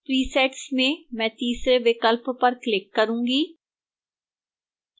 presets में मैं तीसरे विकल्प पर click करूंगी